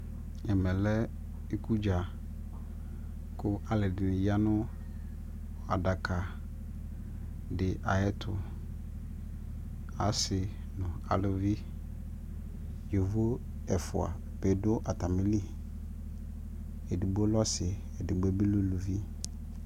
ɛmɛ lɛ ikʋ dza kʋ alʋɛdini yanʋ adaka di ayɛtʋ, asii nʋ alʋvi, yɔvɔ ɛƒʋa bi dʋ atamili, ɛdigbɔ lɛ ɔsii ɛdigbɔ bi lɛ ʋlʋvi